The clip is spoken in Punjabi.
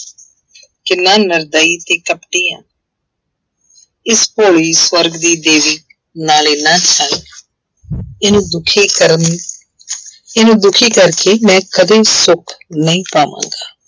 ਕਿੰਨਾ ਨਿਰਦਈ ਤੇ ਕਪਟੀ ਹਾਂ ਇਸ ਭੋਲੀ ਸਵਰਗ ਦੀ ਦੇਵੀ ਨਾਲ ਇੰਨਾ ਇਹਨੂੰ ਦੁੱਖੀ ਕਰਨ ਇਹਨੂੰ ਦੁੱਖੀ ਕਰਕੇ ਮੈਂ ਕਦੇ ਸੁੱਖ ਨਹੀਂ ਪਾਵਾਂਗਾ।